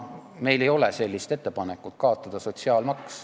Meil ei ole ettepanekut kaotada sotsiaalmaks.